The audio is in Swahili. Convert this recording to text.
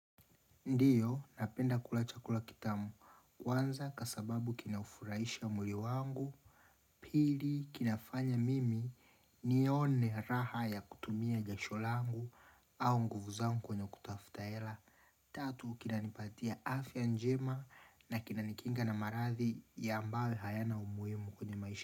Ndiyo napenda kula chakula kitamu wanza ka sababu kina ufuraisha mwili wangu Pili kinafanya mimi nione raha ya kutumia jasho langu au nguvu zangu kwenye kutafuta ela Tatu kinanipatia afya njema na kina nikinga na maradhi yambawe hayana umuimu kwenye maisha.